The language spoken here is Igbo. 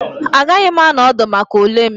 Agaghị m anọ ọdụ maka ule m